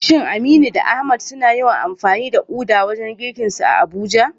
Shin Aminu da Ahmad suna yawan amfani da uda wajen girkinsu a Abuja?